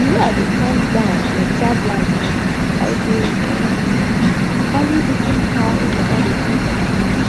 the way i dey calm down and observe life now i dey um value even how water dey feel for my hand